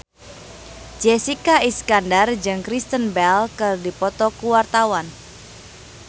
Jessica Iskandar jeung Kristen Bell keur dipoto ku wartawan